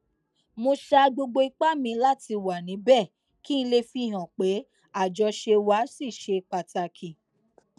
mo sa gbogbo ipá mi láti wà níbè kí n lè fihàn pé àjọṣe wa ṣì ṣe pàtàkì